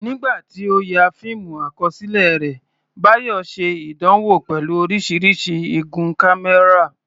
Nígbà tí ó ń ya fíìmù àkọsílẹ̀ rẹ̀, Bayo ṣe ìdánwò pẹ̀lú oríṣiríṣi igun kámẹ́rà.